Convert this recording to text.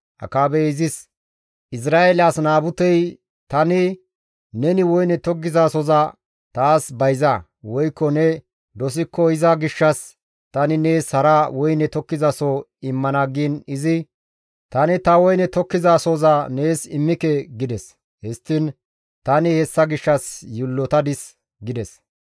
Akaabey izis, «Izra7eele as Naabute tani, ‹Neni woyne tokkizasohoza taas bayza; woykko ne dosikko iza gishshas tani nees hara woyne tokkizasoho immana› giin izi, ‹Tani ta woyne tokkizasohoza nees immike› gides. Histtiin tani hessa gishshas yiillotadis» gides.